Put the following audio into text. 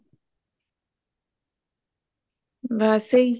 ਵੈਸੇ ਹੀ